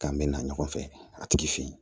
K'an bɛ na ɲɔgɔn fɛ a tigi fɛ yen